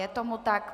Je tomu tak.